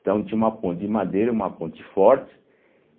Então tinha uma ponte de madeira, uma ponte forte,